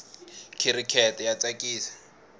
khirikete ya tsakisa